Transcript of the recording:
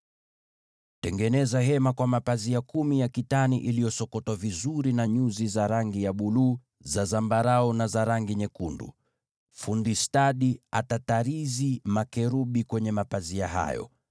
“Tengeneza maskani kwa mapazia kumi ya kitani iliyosokotwa vizuri na nyuzi za rangi ya buluu, za zambarau, na za rangi nyekundu, naye fundi stadi atatarizi makerubi kwenye mapazia hayo.